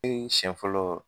E siɲɛ fɔlɔ